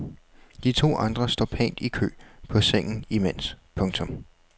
De to andre står pænt i kø på sengen imens. punktum